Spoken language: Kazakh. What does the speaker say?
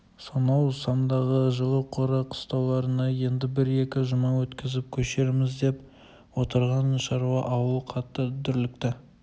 сонау самдағы жылы қора-қыстауларына енді бір екі жұма өткізіп көшерміз деп отырған шаруа ауыл қатты дүрлікті